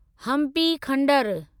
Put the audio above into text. Hampi खंडरु